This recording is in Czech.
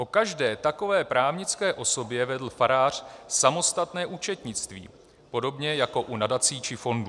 O každé takové právnické osobě vedl farář samostatné účetnictví, podobně jako u nadací či fondů.